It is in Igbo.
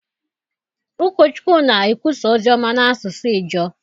Ụkọchukwu na-ekwusa ozi ọma n’asụsụ Ijaw.